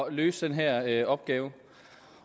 at løse den her opgave